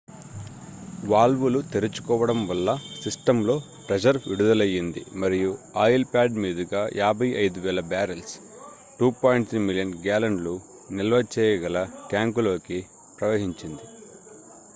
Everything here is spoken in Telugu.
వాల్వులు తెరుచుకోవడం వల్ల సిస్టమ్ లో ప్రెషర్ విడుదలయ్యింది మరియు ఆయిల్ ప్యాడ్ మీదుగా 55,000 బ్యారెల్స్ 2.3 మిలియన్ గ్యాలన్లు నిల్వచేయగల ట్యాంకులోకి ప్రవహించింది